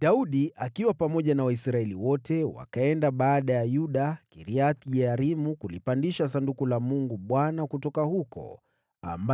Daudi akiwa pamoja na Waisraeli wote wakaenda Baala ya Yuda (yaani Kiriath-Yearimu) kulipandisha Sanduku la Mungu Bwana ,